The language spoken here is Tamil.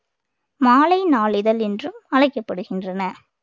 மாலை நாளிதழ் என்றும் அழைக்கப்படுகின்றன